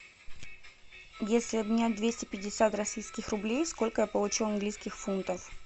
если обменять двести пятьдесят российских рублей сколько я получу английских фунтов